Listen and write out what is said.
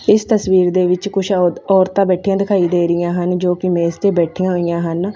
ਇਸ ਤਸਵੀਰ ਦੇ ਵਿੱਚ ਕੁੱਛ ਔਰਤਾਂ ਬੈਠੀਆਂ ਦਿਖਾਈ ਹਨ ਜੋ ਕਿ ਮੇਜ ਤੇ ਬੈਠੀਆਂ ਹੋਈਆਂ ਹਨ।